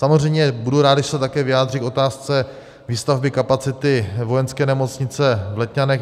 Samozřejmě budu rád, když se také vyjádří k otázce výstavby kapacity vojenské nemocnice v Letňanech.